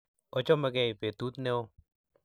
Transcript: ochomegei petut neo